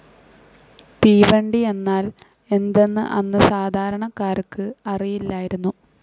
തീവണ്ടി എന്നാൽ എന്തെന്ന് അന്ന് സാധാരണക്കാർക്ക് അറിയില്ലായിരുന്നു.